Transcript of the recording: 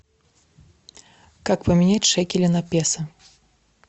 как поменять шекели на песо